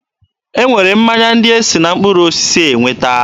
E nwere mmanya ndị e si na mkpụrụ osisi enweta.